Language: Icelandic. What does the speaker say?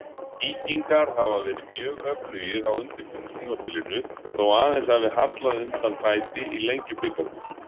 Víkingar hafa verið mjög öflugir á undirbúningstímabilinu þó aðeins hafi hallað undan fæti í Lengjubikarnum.